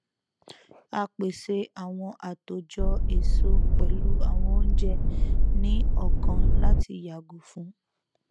à pèsè àwọn àtòjọ èso pẹlú àwọn oúnjẹ ní ọkàn láti yàgò fún